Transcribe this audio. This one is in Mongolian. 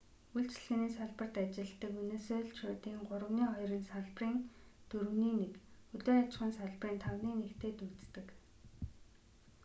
үйлчилгээний салбарт ажилладаг венесуэлчүүдийн гуравны хоёр нь салбарын дөрөвний нэг хөдөө аж ахуйн салбарын тавны нэгтэй дүйцдэг